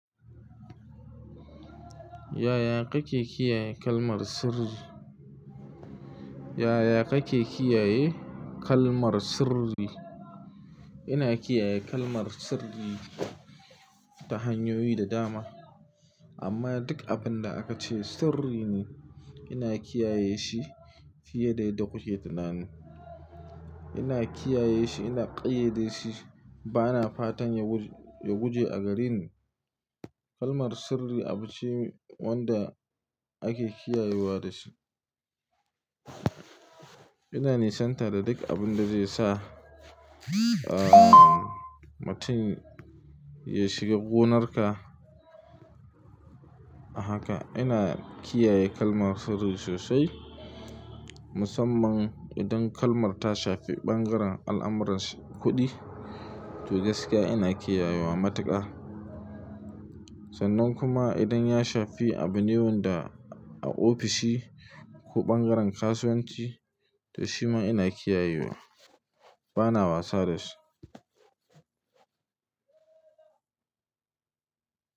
Yaya kake kiyaye kalmar sirri? Yaya kake kiyaye kalmar sirri? Ina kiyaye kalmar sirri ta hanyoyi da dama. Amma duk abun da aka ce sirri ne, ina kiyaye shi fiye da yadda kuke tunani. Ina kiyaye shi, ina ƙayyade shi, bana fatan ya guje a gareni. Kalmar sirri abu ce wanda ake kiyayewa da shi. Ina nisanta da duk abun da zai sa, mutun ya shiga gonarka, haka ina kiyaye kalmar sirri sosai. Musamman idan kalmar ta shafi ɓangaren al'amuran kuɗi, to gaskiya ina kiyayewa matuƙa. Sannan kuma idan ya shafi abune wanda a ofishi, ko ɓangaren kasuwanci, to shi ma ina kiyayewa. Bana wasa da shi.